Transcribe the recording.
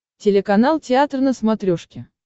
телеканал театр на смотрешке